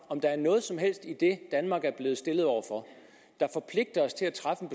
om der er noget som helst i det danmark er blevet stillet over for der forpligter os til at træffe